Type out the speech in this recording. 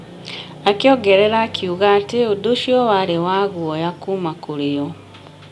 Akĩongerera akiuga atĩ ũndũ ũcio warĩ wa guoya kuuma kũrĩ o.